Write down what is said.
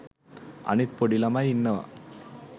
අනිත් පොඩි ළමයි ඉන්නවා